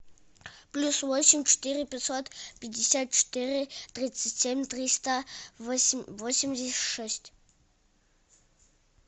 плюс восемь четыре пятьсот пятьдесят четыре тридцать семь триста восемьдесят шесть